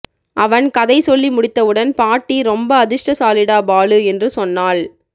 அவன் கதை சொல்லி முடித்தவுடன் பாட்டி ரொம்ப அதிர்ஷடசாலிடா பாலு என்று சொன்னாள்